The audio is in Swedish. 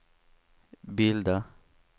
bilda